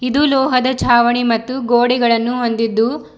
ಇದು ಲೋಹದ ಚಾವಣಿ ಮತ್ತು ಗೋಡೆಗಳನ್ನು ಹೊಂದಿದ್ದು--